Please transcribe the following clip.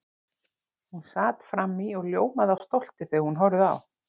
Hún sat frammí og ljómaði af stolti þegar hún horfði á